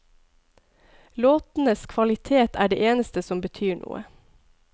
Låtenes kvalitet er det eneste som betyr noe.